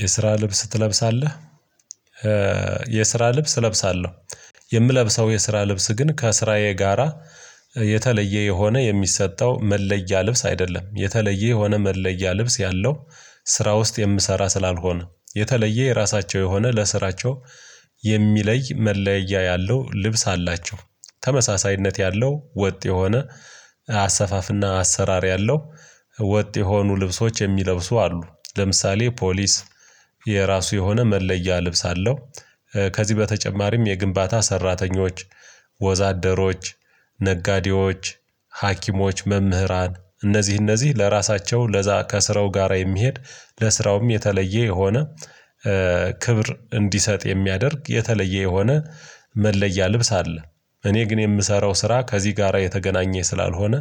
የስራ ልብስ ትለብሳለህ? የስራ ልብስ እለብሳለሁ። የምለብሰው የስራ ልብስ ግን ከስራዬ ጋራ የተለየ የሆነ የሚሰጠው መለያ ልብስ አይደለም የተለየ የሆነ መለያ ልብስ ያለው ስራ ውስጥ የምሰራ ስላልሆነ የተለየ የራሳቸው የሆነ ለስራቸው የሚለይ መለያ ያለው ልብስ አላቸው። ተመሳሳይነት ያለው ወጥ የሆነ አሰፋፍና አሰራር ያለው ወጥ የሆኑ ልብሶች የሚለብሱ አሉ። ለምሳሌ ፖሊስ የራሱ የሆነ መለያ ልብስ አለው። ከዚህ በተጨማሪም የግንባታ ሰራተኞች ወዛደሮች ነጋዴዎች ሀኪሞች መምህራን እነዚህ እነዚህ ለራሳቸው ለዛ ከስራው ጋራ የሚሄድ ለስራውም የተለየ የሆነ ክብር እንዲሰጥ የሚያደርግ የተለየ የሆነ መለያ ልብስ አለ። እኔ ግን የምሰራው ስራ ከዚህ ጋራ የተገናኘ ስላልሆነ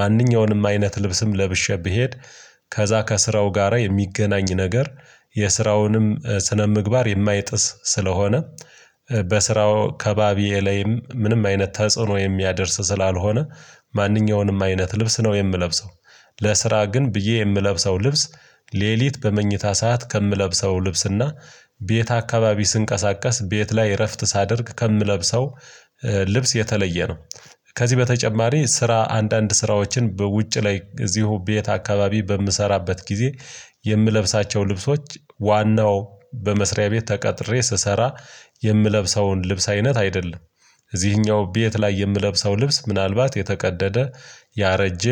ማንኛውንም አይነት ልብስም ለብሼ ብሄድ ከዛ ከስራው ጋራ የሚገናኝ ነገር የስራውንም ስነምግባር የማይጥስ ስለሆነ በስራው አከባቢኤ ላይም ምንም አይነት ተጽዕኖ የሚያደርስ ስላልሆነ ማንኛውንም አይነት ልብስ ነው የምለብሰው። ለስራ ግን ብዬ የምለብሰው ልብስ ሌሊት በመኝታ ሰዓት ከምለብሰው ልብስና ቤት አካባቢ ስንቀሳቀስ ቤት ላይ እረፍት ሳደርግ ከምለብሰው ልብስ የተለየ ነው። ከዚህ በተጨማሪ ስራ አንዳንድ ስራዎችን በውጭ ላይ እዚሁ ቤት አካባቢ በምሰራበት ጊዜ የምለብሳቸው ልብሶች ዋናው በመስሪያ ቤት ተቀጥሬ ስሰራ የምለብሰውን ልብስ አይነት አይደለም። እዚህኛው ቤት ላይ የምለብሰው ልብስ ምናልባት የተቀደደ ያረጀ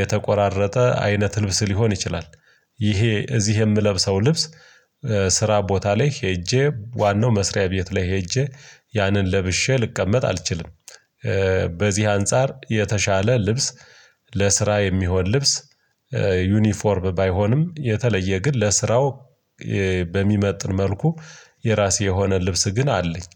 የተቆራረጠ አይነት ልብስ ሊሆን ይችላል። ይሄ እዚህ የምለብሰው ልብስ ስራ ቦታ ላይ ሄጄ ዋናው መስሪያ ቤት ላይ ሄጄ ያንን ለብሼ ልቀመጥ አልችልም። በዚህ አንፃር የተሻለ ልብስ ለስራ የሚሆን ልብስ ዩኒፎርብ ባይሆንም የተለየ ግን ለስራው በሚመጥን መልኩ የራሴ የሆነ ልብስ ግን አለኝ።